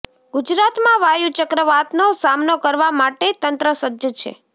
ગુજરાતમાં વાયુ ચક્રવાતનો સામનો કરવા માટે તંત્ર સજ્જ છે